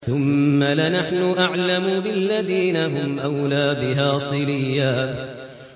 ثُمَّ لَنَحْنُ أَعْلَمُ بِالَّذِينَ هُمْ أَوْلَىٰ بِهَا صِلِيًّا